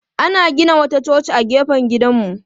Ana gina wata coci a gefen gidanmu.